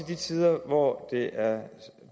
de tider hvor det er